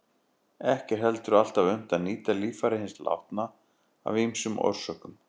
Ekki er heldur alltaf unnt að nýta líffæri hins látna af ýmsum orsökum.